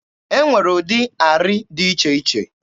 E nwere ụdị arị dị iche iche.